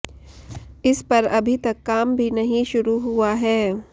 इस पर अभी तक काम भी नहीं शुरू हुआ है